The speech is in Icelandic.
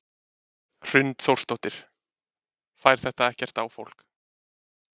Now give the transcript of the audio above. Hrund Þórsdóttir: Fær þetta ekkert á fólk?